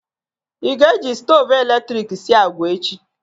Ị ga-eji stoovu eletrik sie agwa echi?